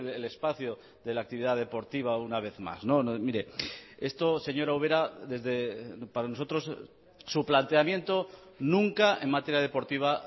el espacio de la actividad deportiva una vez más mire esto señora ubera para nosotros su planteamiento nunca en materia deportiva